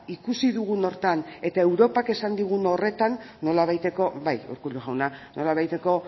ikusi dugun horretan eta europak esan digun horretan nolabaiteko bai urkullu jauna nolabaiteko